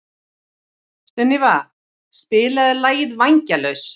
Sunníva, spilaðu lagið „Vængjalaus“.